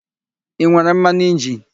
I nwere mmanụ injini?